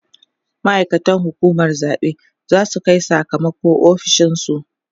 ma'aikatan hukumar zaɓe zasu Kai Saka mako ofishinsu